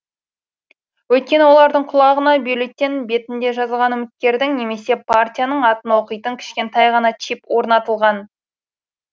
өйткені олардың құлағына бюллетень бетінде жазылған үміткердің немесе партияның атын оқитын кішкентай ғана чип орнатылған